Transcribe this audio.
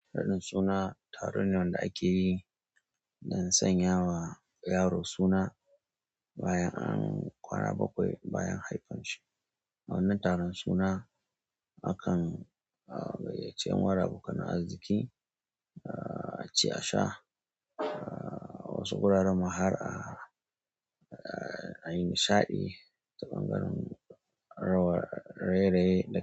Raɗin suna taron ne wanda ake yi don sanya wa yaro suna bayan an ƙwara bakwai bayan haifan shi. A wannan taron suna, akan gayyace yan uwa abokan arziki, a ci a sha, wasu gurare ma har a yi nishaɗi ta bangaren raye-raye da ƙira.